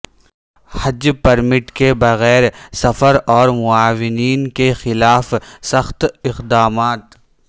حج permit کے بغیر سفر اور معاونین کے خلاف سخت اقدامات